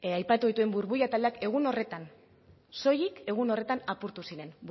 aipatu dituen burbuila taldeak egun horretan soilik egun horretan apurtu ziren